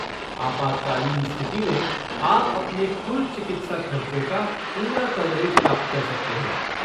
आपातकालीन स्थिति में, आप अपने कुल चिकित्सा खर्चों का पूरा कवरेज प्राप्त कर सकते हैं।